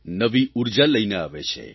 નવી ઉર્જા લઇને આવે છે